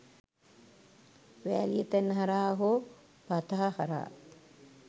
වෑලිය තැන්න හරහා හෝ පතහ හරහා